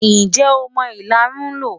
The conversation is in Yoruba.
Ǹjẹ́ o mọ ìlarun lò?